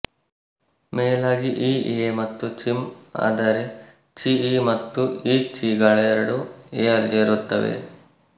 ಮೇಲಾಗಿ ಞ ಏ ಮತ್ತು ಚಿಂ ಆದರೆ ಚಿಞ ಮತ್ತು ಞಚಿ ಗಳೆರಡೂ ಏ ಯಲ್ಲಿರುತ್ತವೆ